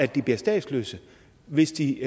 de bliver statsløse hvis de